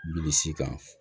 Bilisi kan